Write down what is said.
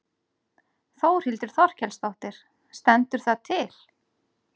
Þórhildur Þorkelsdóttir: Stendur það til?